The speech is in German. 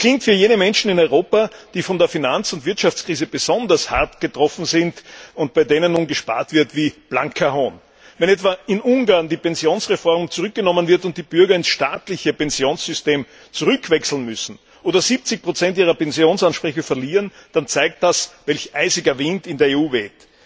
Das klingt für jene Menschen in Europa, die von der Finanz und Wirtschaftskrise besonders hart getroffen sind und bei denen nun gespart wird, wie blanker Hohn. Wenn etwa in Ungarn die Pensionsreform zurückgenommen wird und die Bürger in das staatliche Pensionssystem zurückwechseln müssen oder 70 ihrer Pensionsansprüche verlieren, dann zeigt das, welch eisiger Wind in der EU weht.